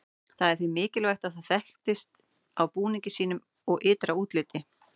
Það var því mikilvægt að það þekktist á búningi sínum og ytra útliti.